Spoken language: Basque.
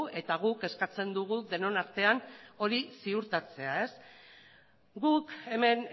eta guk eskatzen dugu denon artean hori ziurtatzea guk hemen